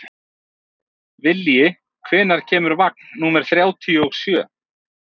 Vilji, hvenær kemur vagn númer þrjátíu og sjö?